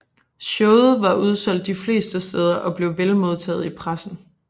Showet var udsolgt de fleste steder og blev vel modtaget i pressen